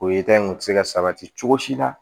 O ye in se ka sabati cogo si la